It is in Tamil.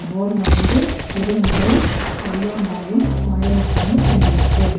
போடுல வந்து சிறுமுகை கரியாம்பாளையம் கோயம்முத்தூர்னு எழுதிருக்கு.